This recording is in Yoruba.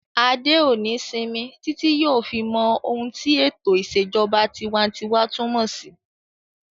Adé ò ní sinmi títí yóò fi mọ ohun tí ètò ìṣèjọba tinwatinwa túnmọ̀ sí